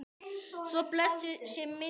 Svo blessuð sé minning hennar.